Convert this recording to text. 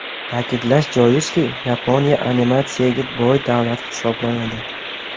Ta’kidlash joizki, Yaponiya animatsiyaga boy davlat hisoblanadi.